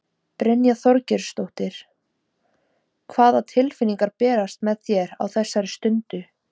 Brynja Þorgeirsdóttir: Hvaða tilfinningar bærast með þér á þessari stundu?